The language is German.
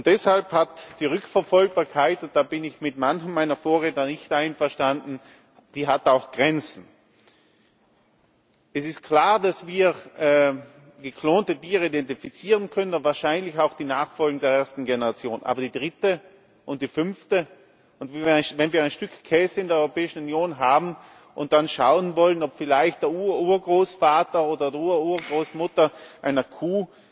Deshalb hat die Rückverfolgbarkeit da bin ich mit manchen meiner Vorredner nicht einverstanden auch Grenzen. Es ist klar, dass wir geklonte Tiere identifizieren können und wahrscheinlich auch die Nachfolger der ersten Generation Aber die dritte und die fünfte Generation? Und wenn wir ein Stück Käse in der Europäischen Union haben und dann schauen wollen, ob vielleicht der Ururgroßvater oder die Ururgroßmutter einer Kuh